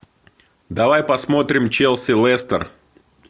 давай посмотрим челси лестер